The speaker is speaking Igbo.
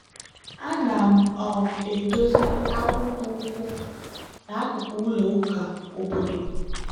ana m um edozi akpụkpọ ụkwụ n'akụkụ ụlọ ụka obodo.